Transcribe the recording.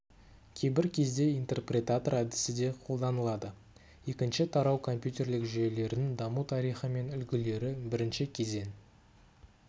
кейбір кезде интерпретатор әдісі де қолданылады екінші тарау компьютерлік жүйелердің даму тарихы мен үлгілері бірінші кезең